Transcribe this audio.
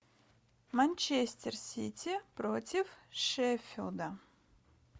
манчестер сити против шеффилда